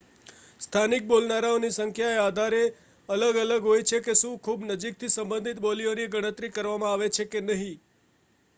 સ્થાનિક બોલનારાઓની સંખ્યા એ આધારે અલગ અલગ હોય છે કે શું ખૂબ નજીકથી સંબંધિત બોલીઓની ગણતરી કરવામાં આવે છે કે નહીં